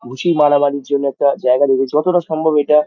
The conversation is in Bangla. ঘুষি মারামারির জন্য একটা জায়গা রেখে যতটা সম্ভব এটা --